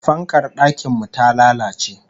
Fankar dakin mu ta lalace